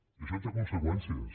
i això té conseqüències